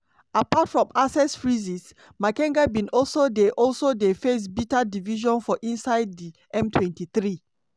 apart from asset freezes makenga bin also dey also dey face bitter division for inside di m23.